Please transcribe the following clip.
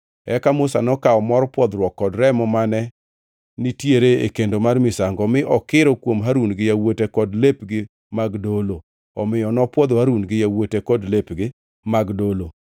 Eka Musa nokawo mor pwodhruok kod remo mane nitiere e kendo mar misango mi okiro kuom Harun gi yawuote kod lepgi mag dolo. Omiyo nopwodho Harun gi yawuote kod lepgi mag dolo.